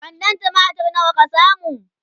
kwandon tumatir nawa ka samu?